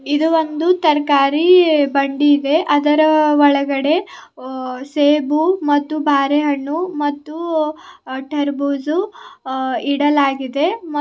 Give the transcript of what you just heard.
ಇದು ಒಂದು ತರಕಾರಿ ಬಂಡಿ ಇದೆ ಅದರ ಒಳಗಡೆ ಅ _ಅ _ಅ ಸೇಬುಮತ್ತು ಬಾರೆ ಹಣ್ಣು ಮತ್ತು ಅ_ಅ_ಅ ಟೂರ್ಬೋಸ ಅ _ಅ _ಅ ಇಡಲಾಗಿದೆ.